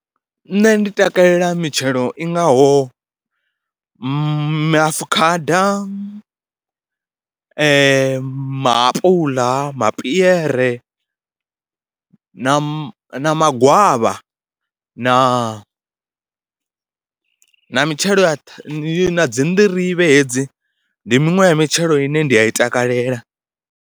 Nṋe ndi takalela mitshelo i ngaho maafukhada, maapuḽa, mapiere na ma magwavha na mitshelo ya dzi na dzi nḓirivhe hedzi, ndi miṅwe ya mitshelo ine nda i takalela.